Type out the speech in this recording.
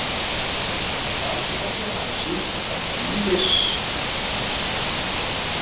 Rannsóknir hafa sýnt, að ýmsir áhættuþættir hjarta- og æðasjúkdóma eru algengir meðal Íslendinga.